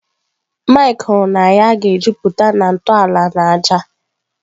Mike kwuru na ya ga-ejupụta na ntọala na ájá.